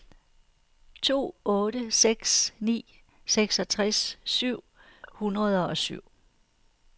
to otte seks ni seksogtres syv hundrede og syv